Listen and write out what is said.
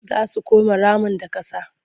Za su come ramin da ƙasa.